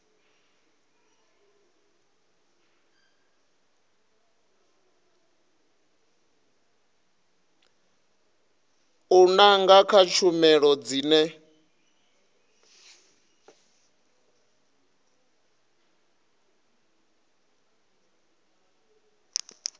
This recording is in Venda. u nanga kha tshumelo dzine